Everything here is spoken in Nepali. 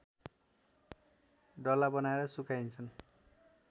डल्ला बनाएर सुकाइन्छन्